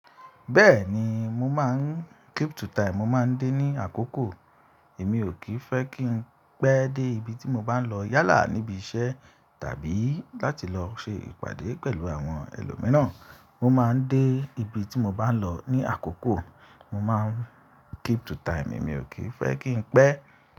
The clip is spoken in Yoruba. Bẹ́ẹ̀ni, mo máa ń keep to time. Mo máa ń dé ní àkókò. Èmi ò kì í fẹ́ kí n pẹ́ dé ibi tí mo bá ń lọ yálà níbi iṣẹ́ tàbí láti lọ ṣe ìpàdé pẹ̀lú àwọn ẹlòmíràn. Mo máa ń dé ibi tí mo bá ń lọ ní àkókò. Mo máa ń keep to time. Èmi ò kí ì fẹ́ kí n pẹ́.